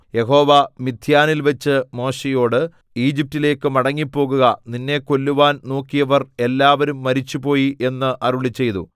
യഹോവ മിദ്യാനിൽവച്ച് മോശെയോട് ഈജിപ്റ്റിലേക്ക് മടങ്ങിപ്പോകുക നിന്നെ കൊല്ലുവാൻ നോക്കിയവർ എല്ലാവരും മരിച്ചുപോയി എന്ന് അരുളിച്ചെയ്തു